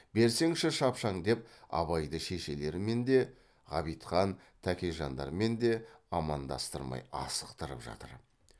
берсеңші шапшаң деп абайды шешелерімен де ғабитхан тәкежандармен де амандастырмай асықтырып жатыр